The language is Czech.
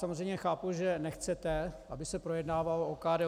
Samozřejmě chápu, že nechcete, aby se projednávalo OKD.